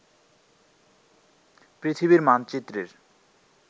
পৃথিবীর মানচিত্রের